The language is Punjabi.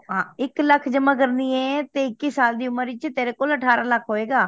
ਹੈ ਤੂੰ ਇੱਕ ਲੱਖ ਜਮਾ ਕਰਨੀ ਏ ਤੇ ਇੱਕੀ ਸਾਲ ਦੀ ਉਮਰ ਵਿਚ ਤੇਰੇ ਕੋਲ ਅਠਾਰਹ ਲੱਖ ਹੋਏਗਾ